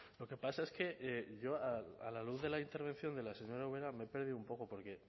lo que pasa es que yo a la luz de la intervención de la señora ubera me he perdido un poco porque